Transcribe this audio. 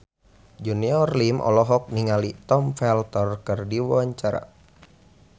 Junior Liem olohok ningali Tom Felton keur diwawancara